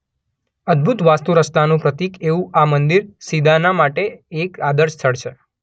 અદભુત વાસ્તુરચનાનું પ્રતીક એવું આ મંદિર સિદાના માટે એક આદર્શ સ્થળ છે.